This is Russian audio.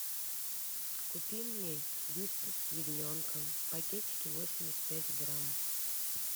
купи мне вискас с ягненком пакетики восемьдесят пять грамм